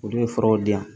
Olu bɛ fɛɛrɛw di yan